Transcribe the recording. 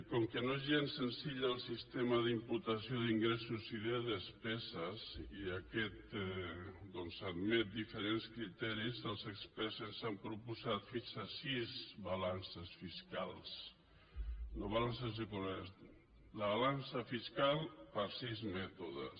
com que no és gens senzill el sistema d’imputació d’ingressos i de despeses i aquest doncs admet diferents criteris els experts ens han proposat fins a sis balances fiscals la balança fiscal per sis mètodes